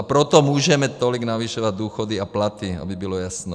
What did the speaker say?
A proto můžeme tolik navyšovat důchody a platy, aby bylo jasno.